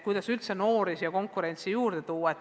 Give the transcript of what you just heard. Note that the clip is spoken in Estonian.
Kuidas üldse noori siia konkurentsi tuua?